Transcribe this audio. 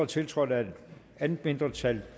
tiltrådt af et andet mindretal